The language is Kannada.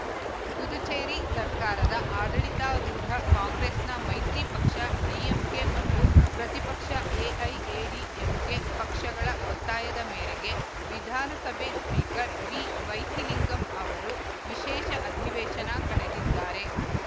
ಪುದುಚೇರಿ ಸರ್ಕಾರದ ಆಡಳಿತಾರೂಢ ಕಾಂಗ್ರೆಸ್‌ನ ಮೈತ್ರಿ ಪಕ್ಷ ಡಿಎಂಕೆ ಮತ್ತು ಪ್ರತಿಪಕ್ಷ ಎಐಎಡಿಎಂಕೆ ಪಕ್ಷಗಳ ಒತ್ತಾಯದ ಮೇರೆಗೆ ವಿಧಾನಸಭೆ ಸ್ಪೀಕರ್‌ ವಿವೈಥಿಲಿಂಗಂ ಅವರು ವಿಶೇಷ ಅಧಿವೇಶನ ಕರೆದಿದ್ದಾರೆ